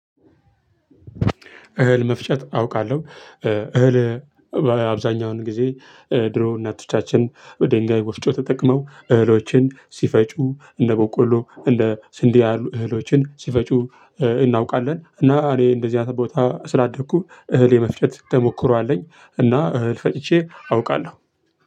እህል መፍጨት አውቃለሁ። እህል አብዛኛውን ጊዜ ድሮ እናቶቻችን በድንጋይ ወፍጮ ተጠቅመው እህሎችን ሲፈጩ እንደ ቦቆሎ እንደ ስንዴ ያሉ እህሎችን ሲፈጩ እናውቃለን እና እኔ እንደዚህ አይነት ቦታ ስላደኩ እህል የመፍጨት ተሞክሮ አለኝ እና እህል ፈጭቼ አውቃለሁ።